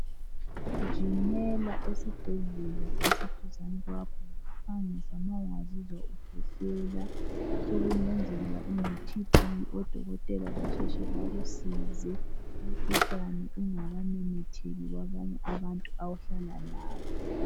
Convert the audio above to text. Gijimela esibhedlela esiduzane kwakho ngokuphangisa ma ungazizwa ukwehlela. Sokungenzeka uneTB odokotela basheshe bakusize umkhuhlane ungakamemetheki kwabanye abantu ohlala labo.